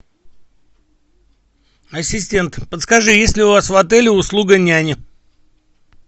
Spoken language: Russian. ассистент подскажи есть ли у вас в отеле услуга няни